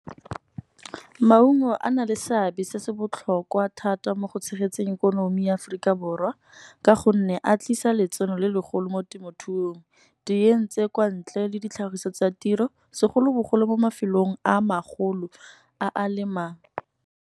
Maungo a na le seabe se se botlhokwa thata mo go tshegetseng ikonomi ya Aforika Borwa. Ka gonne a tlisa letseno le legolo mo temothuong, di kwa ntle le ditlhagiso tsa tiro, segolobogolo mo mafelong a magolo a a lemang.